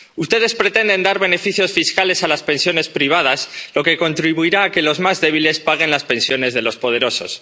Ustedes pretenden dar beneficios fiscales a las pensiones privadas, lo que contribuirá a que los más débiles paguen las pensiones de los poderosos.